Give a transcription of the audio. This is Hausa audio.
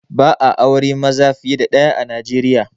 Ba'a aure maza fiye da ɗaya a Nijeriya